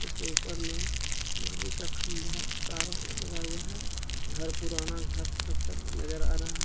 इसके ऊपर में बिजली का खंभा तार लगा हुआ है घर पुराना घर नजर आ रहा है।